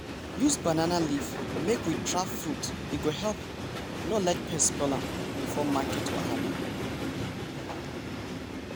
use banana leaf make we wrap fruit e go help no let pest spoil am before market wahala.